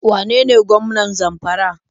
Wane ne gwamnan Zamfara?